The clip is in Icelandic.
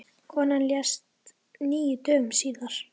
Konan lést níu dögum síðar.